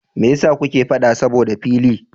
Mai yasa kuke faɗa saboda fili?